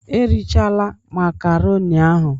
Erechala makaroni ahun!